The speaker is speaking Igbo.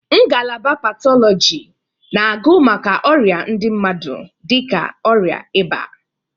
Ngalaba Patọlọji na agụ maka ọrịa ndị mmadụ dịka ọrịa ịba.